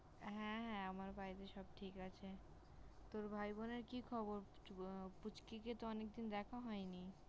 হ্যাঁ আমার বাড়িতে সব ঠিক আছে। তোর ভাই বোনের কি খবর? পুচকিকে তো অনেকদিন দেখা হয়নি।